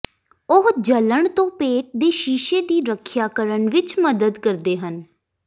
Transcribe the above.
ਉਹ ਜਲਣ ਤੋਂ ਪੇਟ ਦੇ ਸ਼ੀਸ਼ੇ ਦੀ ਰੱਖਿਆ ਕਰਨ ਵਿੱਚ ਮਦਦ ਕਰਦੇ ਹਨ